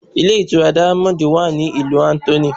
Ilé ìtura diamond wa ní ìlú Anthony.